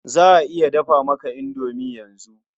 Za a iya dafa maka indomi yanzu.